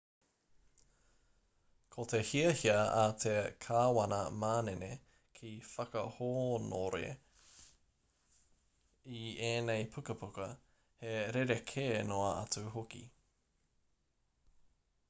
ko te hiahia a te kāwana manene ki whakahōnore i ēnei pukapuka he rerekē noa atu hoki